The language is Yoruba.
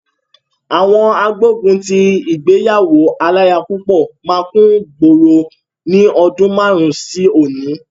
Àwọn agbógun ti ìgbéyàwó aláya púpọ̀ máa kúngboro ní ọdún márùn-ún sí òní.